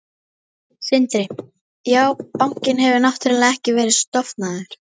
Sindri: Já, bankinn hefur náttúrulega ekki verið stofnaður?